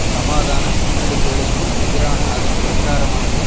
சமாதான முன்னெடுப்புகளுக்கு எதிரான அதன் பிரச்சாரமானது